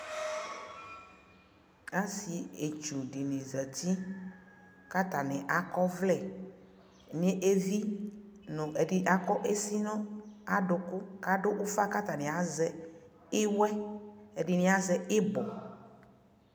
asii itzɔ dini zati kʋ atani akɔ ɔvlɛ nʋ ivi nʋ ɛdi akɔ kʋɛsi nʋ adʋkʋ kʋ adʋ ʋƒa kʋ atani azɛ iwɛ, ɛdini azɛ ibɔ